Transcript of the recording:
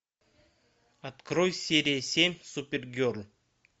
открой серия семь супергерл